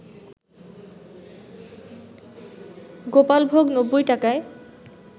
গোপালভোগ ৯০ টাকায়